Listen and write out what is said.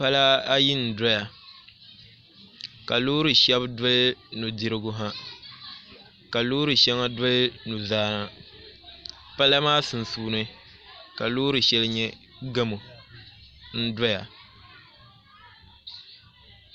Pala ayi n doya ka loori shɛli doli nudirigu ha ka loori shɛŋa doli nuzaa pala maa sunsuuni ka loori shɛli nyɛ gamo n doya